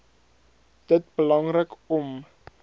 dit belangrik om